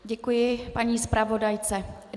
Děkuji paní zpravodajce.